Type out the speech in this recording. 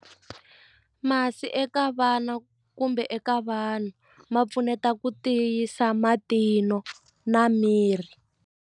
Masi eka vana kumbe eka vanhu ma pfuneta ku tiyisa matinyo na miri.